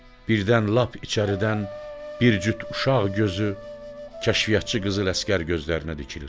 Birdən lap içəridən bir cüt uşaq gözü kəşfiyyatçı qızıl əsgər gözlərinə dikilir.